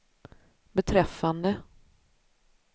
beträffande